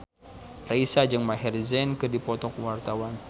Raisa jeung Maher Zein keur dipoto ku wartawan